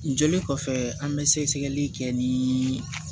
Joli kɔfɛ an bɛ sɛgɛsɛgɛli kɛ ni